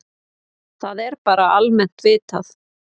Það er bara almennt vitað.